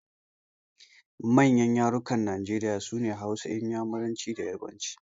Manyan yarukan Najeriya sune Hausa, Inyamuranci da Yarabanci.